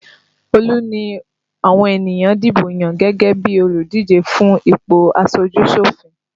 Olu ni àwọn ènìyàn dìbò yàn gẹ́gẹ́ bí olùdíje fún ipò aṣojú-sòfin